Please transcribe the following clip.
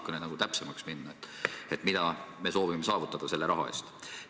Kui natukene täpsemaks minna: mida me soovime saavutada selle raha eest?